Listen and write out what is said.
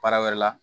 Baara wɛrɛ la